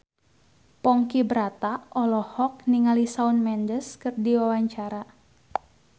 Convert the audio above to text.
Ponky Brata olohok ningali Shawn Mendes keur diwawancara